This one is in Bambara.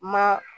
Ma